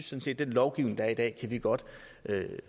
synes at den lovgivning der er i dag kan vi godt